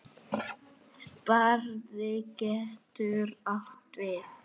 Barði getur átt við